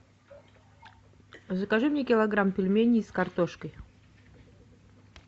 закажи мне килограмм пельменей с картошкой